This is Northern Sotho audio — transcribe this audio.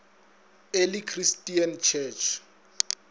early christian church